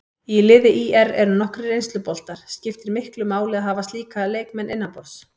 Í liði ÍR eru nokkrir reynsluboltar, skiptir miklu máli að hafa slíka leikmenn innanborðs?